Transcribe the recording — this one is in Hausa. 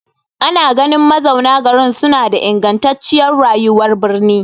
Ana ganin mazauna garin suna da ingantacciyar rayuwar birni.